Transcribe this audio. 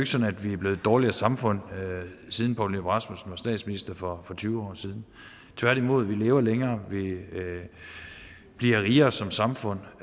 sådan at vi er blevet et dårligere samfund siden poul nyrup rasmussen var statsminister for tyve år siden tværtimod vi lever længere vi bliver rigere som samfund